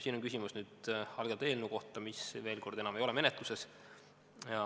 " See on küsimus algatatud eelnõu kohta, mis, veel kord, enam ei ole menetluses.